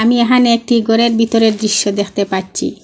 আমি এহানে একটি গরের বিতরের দৃশ্য দেখতে পাচ্চি।